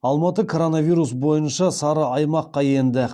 алматы коронавирус бойынша сары аймаққа енді